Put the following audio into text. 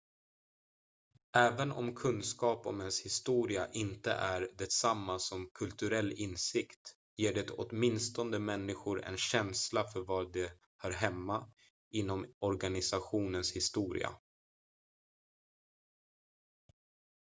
även om kunskap om ens historia inte är detsamma som kulturell insikt ger det åtminstone människor en känsla för var de hör hemma inom organisationens historia